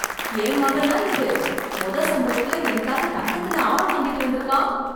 என் மகனா இது, மொத சம்பளத்துல எனக்காக தங்கத்துல ஆரம் வாங்கிட்டு வந்திருக்கான்.